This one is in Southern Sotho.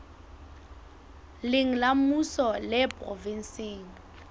leng la mmuso le provenseng